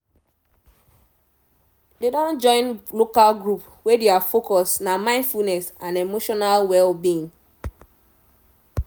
they don join local group wey thier focus nah mindfulness and emotional well-being